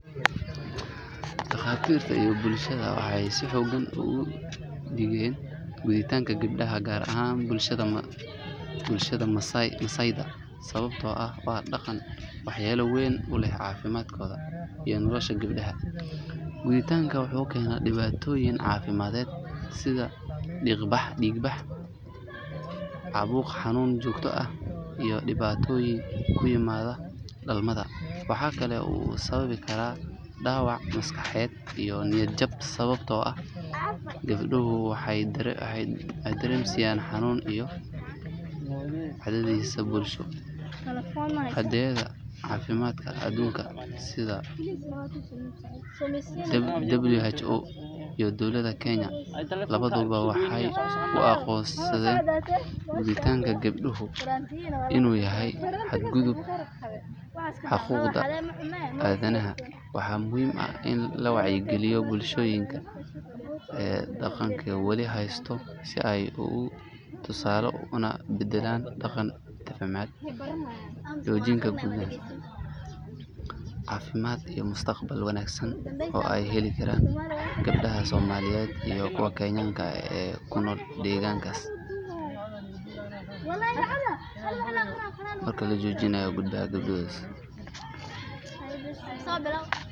Dhaqaatiirta iyo bulshada waxay si xooggan uga digeen gudniinka gabdhaha gaar ahaan bulshada Masaaiyeed sababtoo ah waa dhaqan waxyeelo weyn u leh caafimaadka iyo nolosha gabadha. Gudniinka wuxuu keenaa dhibaatooyin caafimaad sida dhiig bax, caabuq, xanuun joogto ah, iyo dhibaatooyin ku yimaada dhalmada. Waxa kale oo uu sababi karaa dhaawac maskaxeed iyo niyad jab sababtoo ah gabadhu waxay dareemaysaa xanuun iyo cadaadis bulsho. Hay’adaha caafimaadka aduunka sida WHO iyo dowladda Kenya labaduba waxay u aqoonsadeen gudniinka gabdhaha inuu yahay xadgudub xuquuqda aadanaha. Waxaa muhiim ah in la wacyigeliyo bulshooyinka dhaqankan wali haysta si ay uga tanaasulaan una beddelaan dhaqan caafimaad qaba oo aan dhaawacaynin gabdhaha. Marka la joojiyo gudniinka gabdhaha, waxaa la badbaadin karaa nolol, caafimaad iyo mustaqbal wanaagsan oo ay heli karaan gabdhaha Soomaaliyeed iyo kuwa Kenyaanka ah ee ku nool deegaankaas.